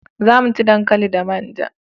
Za mu ci dankali da manja